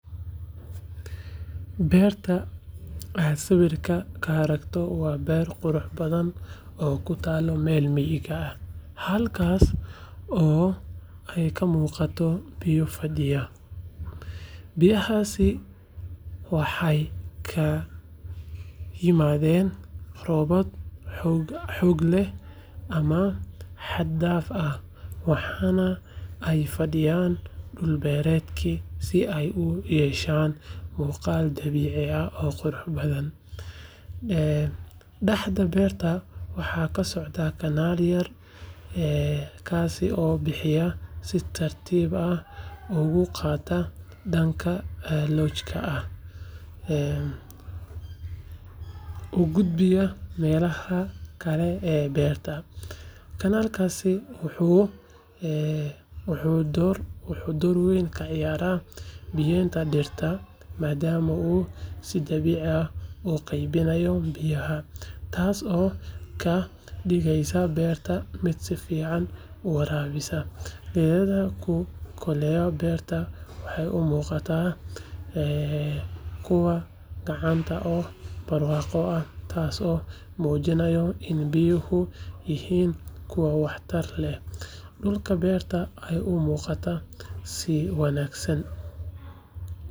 Beerta waxaa sawirka marka aragto beerta qurux badan oo kutalo meel miga ah ee ka muqato meel miga ah biyahasi waxee ka imaden meela robab oo xag daf ah ee fadiyan dul beerenta dulqaad dabici ah ee daxda beerta waxaa socdaa kanal yar oo bixiya, kanalkasi wuxuu dor weyn ka ciyara beerta madama u qeybinayo beerta, tas oo ka digeysa beerta miid si fican uwarabisa, beerta waxee u muqataa kuwa tas oo mujinaya in biyuhu noqdan miid wax tar leh dulka beerta waxee u muqataa.